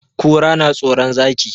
Kura na tsoron Zaki.